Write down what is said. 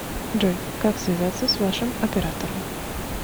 джой как связаться с вашим оператором